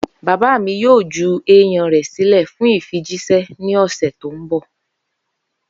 Baba mi yoo ju eiyan rẹ silẹ fun ifijiṣẹ ni ọsẹ ti n bọ.